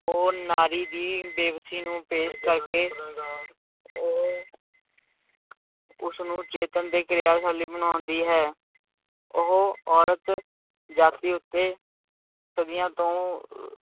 ਉਹ ਨਾਰੀ ਦੀ ਬੇਬਸੀ ਨੂੰ ਪੇਸ਼ ਕਰਕੇ ਉਹ ਉਸਨੂੰ ਚੇਤੰਨ ਤੇ ਕਿਰਿਆਸ਼ਾਲੀ ਬਣਾਉਂਦੀ ਹੈ, ਉਹ ਔਰਤ ਜਾਤੀ ਉੱਤੇ ਸਦੀਆਂ ਤੋਂ